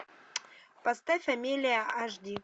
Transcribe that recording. поставь амелия аш ди